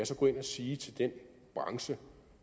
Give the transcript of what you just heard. så gå ind og sige til den branche